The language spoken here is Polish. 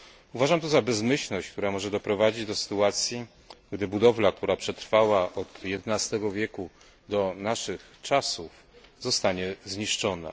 Uważam to za bezmyślność, która może doprowadzić do sytuacji, że budowla, która przetrwała od jedenastego wieku do naszych czasów, zostanie zniszczona.